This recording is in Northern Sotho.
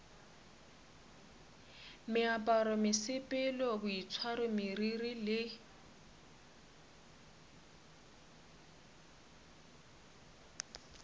meaparo mesepelo boitshwaro meriri le